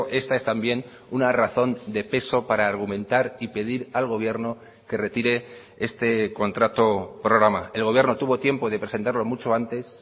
esta es también una razón de peso para argumentar y pedir al gobierno que retire este contrato programa el gobierno tuvo tiempo de presentarlo mucho antes